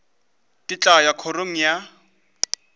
ke tla ya kgorong ya